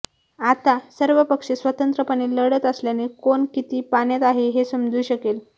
आता सर्व पक्ष स्वतंत्रपणे लढत असल्याने कोण किती पाण्यात आहे हे समजू शकेल